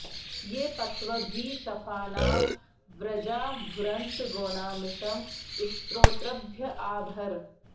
ये पत्व॑भिः श॒फानां॑ व्र॒जा भु॒रन्त॒ गोना॒मिषं॑ स्तो॒तृभ्य॒ आ भ॑र